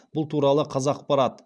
бұл туралы қазақпарат